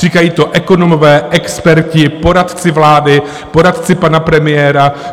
Říkají to ekonomové, experti, poradci vlády, poradci pana premiéra.